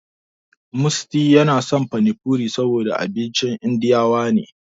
Musty yana son pani puri saboda abincin indiyawa ne.